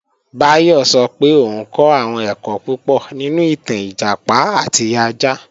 Báyọ̀ sọ pé òun kọ́ àwọn ẹ̀kọ́ púpọ̀ nínú ìtàn Ìjàpá àti ajá